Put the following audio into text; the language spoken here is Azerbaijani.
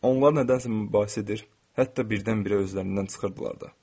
Onlar nədənsə mübahisə edir, hətta birdən-birə özlərindən çıxırdılar da.